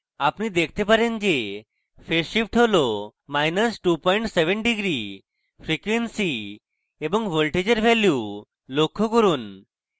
আপনি দেখেন যে phase shift হল27 degree মাইনাস 27 degree frequency এবং voltages ভ্যালু লক্ষ্য করুন